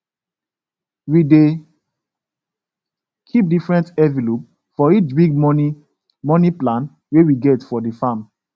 we dey keep different envelope for each big money money plan wey we get for the farm